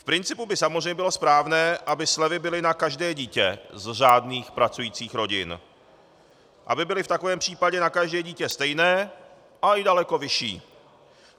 V principu by samozřejmě bylo správné, aby slevy byly na každé dítě z řádných pracujících rodin, aby byly v takovém případě na každé dítě stejné, ale i daleko vyšší.